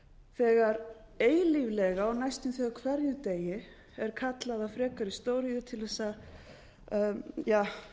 þegar eilíflega og næstum því á hverjum degi er kallað á frekari stóriðju til þess að